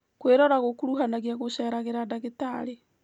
Kwĩrora gũkuruhanagia gũcereragĩra ndagĩtarĩ